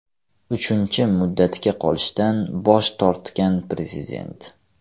Uchinchi muddatga qolishdan bosh tortgan prezident.